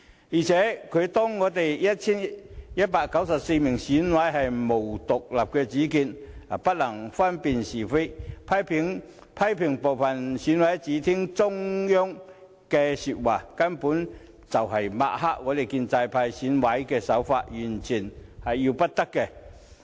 再者，他把我們 1,194 名選委看成毫無獨立主見，而且不能分辨是非，又批評部分選委只聽令於中央，這根本是在抹黑建制派的選委，完全要不得。